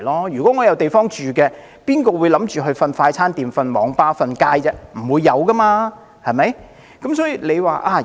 如果有地方居住，又有誰會想睡在快餐店或網吧，或街頭露宿呢？